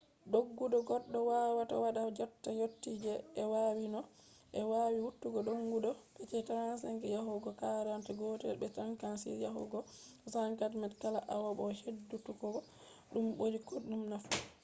doggudu goɗɗo wawata waɗa jotta yottai je ɓe wati no ɓe wowi watugo doggudu mph 35 yahugo 40 gotel be 56 yahugo 64 km kala awa bo heɗutuggo ɗum ɓuri koɗume nafu